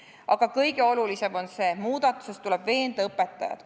Aga kõige olulisem on see: muudatuses tuleb veenda õpetajat.